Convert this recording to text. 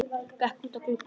Gekk út að glugga.